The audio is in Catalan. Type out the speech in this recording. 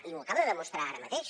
i ho acaba de demostrar ara mateix